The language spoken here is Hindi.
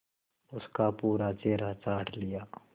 उसका पूरा चेहरा चाट लिया